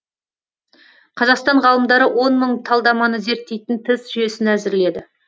қазақстан ғалымдары он мың талдаманы зерттейтін тест жүйесін әзірледі